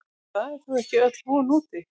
Það er þó ekki öll von úti.